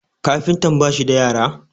kafintan ba shi da yara?